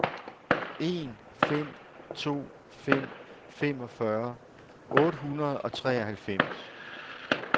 en fem to fem femogfyrre otte hundrede og treoghalvfems